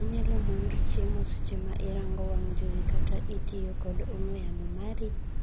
iInyalomonri chiemo seche ma irango wang' jowi kata ka itiyoo kod ong'wee yamo mari?